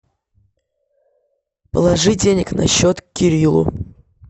положи денег на счет кириллу